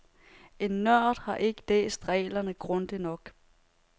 En nørd har ikke læst reglerne grundigt nok.